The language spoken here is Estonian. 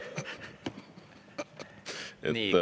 Nii.